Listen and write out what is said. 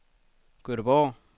Gøteborg